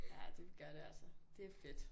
Ja det gør det altså det er fedt